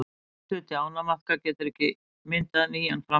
afturhluti ánamaðka getur ekki myndað nýjan framhluta